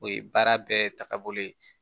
O ye baara bɛɛ tagabolo ye